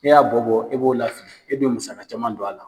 Ni y'a bɔ bɔ e b'o lafili e bɛ musaka caman don a la.